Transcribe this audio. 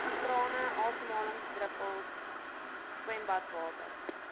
trane asemhalingsdruppels swembadwater